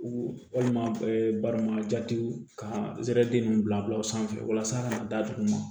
Walima barama jatew ka ninnu bila bila u sanfɛ walasa ka na da dugu ma